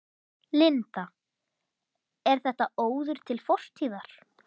Linda: Er þetta óður til fortíðar?